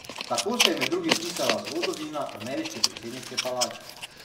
Tako se je med drugim pisala zgodovina ameriške predsedniške palače.